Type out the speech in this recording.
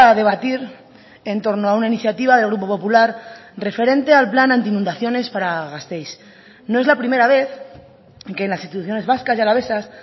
debatir en torno a una iniciativa del grupo popular referente al plan anti inundaciones para gasteiz no es la primera vez que las instituciones vascas y alavesas